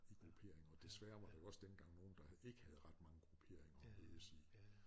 I grupperinger og desværre var der jo også dengang nogle der ikke havde ret mange grupperinger at mødes i